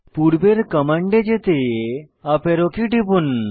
পূর্বের কমান্ডে যেতে আপ অ্যারো কী টিপুন